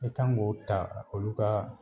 E kan k'o ta olu ka